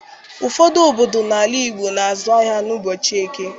Ụfọdụ obodo n'ala Igbo na-azụ ahịa n'ụbọchị Eke.